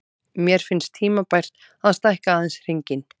Mér finnst tímabært að stækka aðeins hringinn.